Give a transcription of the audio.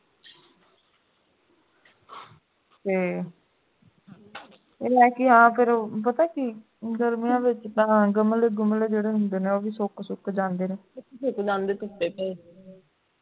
ਤੇ ਇਹ ਲੈਕੇ ਆ ਫੇਰ ਪਤਾ ਕੀ ਗਰਮੀਆਂ ਵਿਚ ਤਾਂ ਗਮਲੇ ਗੁੰਮਲੇ ਜੁੜੇ ਹੁੰਦੇ ਹਨ ਨਾ ਉਹ ਵੀ ਸੁੱਕ ਜਾਂਦੇ ਨੇ ਸੁੱਕ ਜਾਂਦੇ ਸੁੱਤੇ ਪਏ